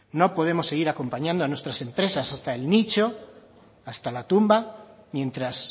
no podemos seguir acompañando a nuestras empresas hasta el nicho hasta la tumba mientras